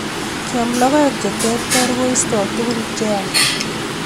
Keam logoek che terter koistoi tugun che yach